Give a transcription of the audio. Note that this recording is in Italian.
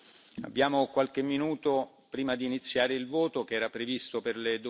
Abbiamo qualche minuto prima di iniziare il voto, che era previsto per le